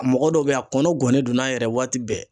A mɔgɔ dɔw bɛ a kɔnɔ gɔnnen don n'a yɛrɛ waati bɛɛ